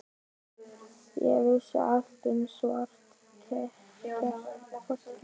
Ég vissi allt um svarta ketti.